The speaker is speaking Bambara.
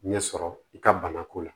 Ɲɛsɔrɔ i ka bana ko la